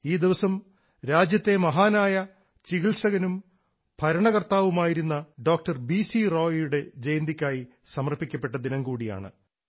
ഈ ദിവസം രാജ്യത്തെ മഹാനായ ചികിത്സകനും ഭരണകർത്താവുമായിരുന്ന ഡോക്ടർ ബി സി റായിയുടെ ജയന്തിക്കായി സമർപ്പിക്കപ്പെട്ട ദിനം കൂടിയാണ്